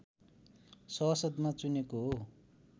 सभासदमा चुनेको हो